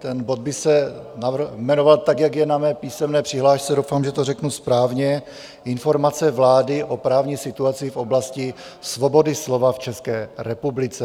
Ten bod by se jmenoval tak, jak je na mé písemné přihlášce - doufám, že to řeknu správně: Informace vlády o právní situaci v oblasti svobody slova v České republice.